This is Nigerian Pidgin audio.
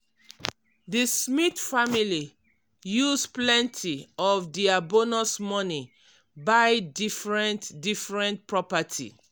di smith family use plenty of dia bonus money buy different-different property.